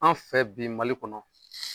An fɛ bi Mali kɔnɔ.